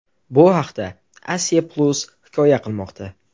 Bu haqda Asia-Plus hikoya qilmoqda .